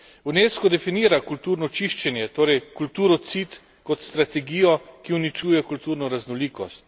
Unesco definira kulturno čiščenje, torej kulturocid, kot strategijo, ki uničuje kulturno raznolikost.